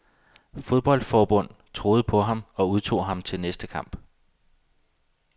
Fodboldforbund troede på ham og udtog ham til den næste kamp.